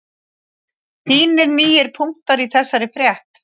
Fínir nýir punktar í þessari frétt